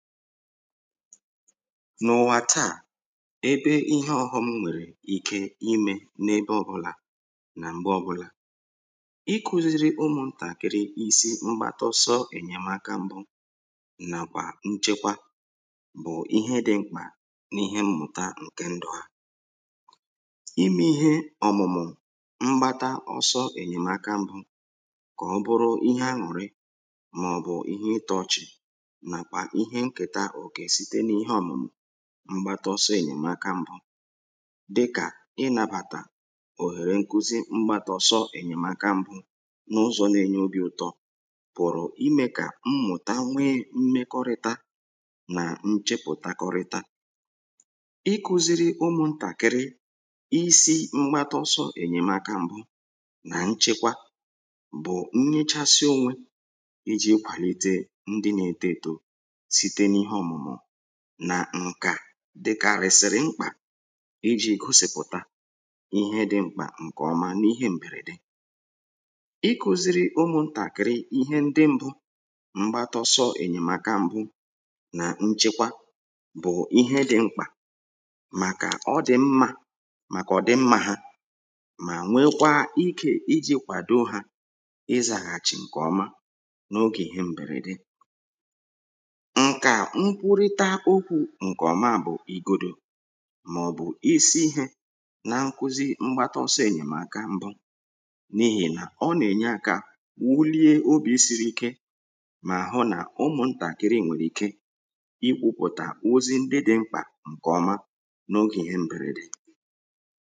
n’ụ̀wà taa ebe ihe ọghọm nwèrè ike imė n’ebe ọbụlà na m̀gbe ọbụlà iku̇ziri ụmụ̀ntàkiri isi mgbatọsọ ènyèmaka mbụ nàkwà nchekwa bụ̀ ihe dị mkpà n’ihe mmụ̀ta ǹke ndụ̀ ha ime ihe ọ̀mụ̀mụ̀ mgbata ọsọ ènyèmaka mbụ kà ọ bụrụ ihe añùrị màọbụ̀ ihe itu̇chì mgbata ọsọ ị̀nyèmaka mbụ dịkà ị nabàtà òhèrè nkuzi mgbata ọsọ ị̀nyèmaka mbụ n’ụzọ̇ na-enye obi̇ ụ̀tọ pụ̀rụ̀ imė kà mmụ̀ta nwee mmekọrịta nà nchepụ̀takọrịta iku̇ziri ụmụ̀ntàkịrị isi mgbata ọsọ ị̀nyèmaka mbụ nà nchekwa bụ̀ nnyechasị onwe iji̇ kwàlite ndị nà-ete èto nà ǹkà dịkàarị̀sị̀rị̀ mkpà iji̇ gosìpụ̀ta ihe dị mkpà ǹkè ọma n’ihe m̀bèrèdè i kùzìrì ụmụ̇ntàkị̀rị ihe ndị mbụ mgbatọsọ ènyèmàkà mbụ nà nchekwa bụ̀ ihe dị mkpà màkà ọ dị̀ mmȧ màkà ọ dị̀ mmȧ ha mà nwekwa ike iji̇ kwàdo hȧ ịzàghàchì ǹkè ọma n’ogè ihe m̀bèrèdè mkwụrịta okwu̇ ǹkè ọmà bụ̀ ìgodò màọ̀bụ̀ isi ihė na-nkuzi mgbata ọsọ ènyèmaka mbụ n’ihì nà ọ nà-ènyeakȧ wulie obi̇ siri ike mà àhụ nà ụmụ̀ntàkiri nwèrè ike ikwupụ̀tà ozi ndị dị̇ mkpà ǹkè ọma n’ogè ihe m bèrèdè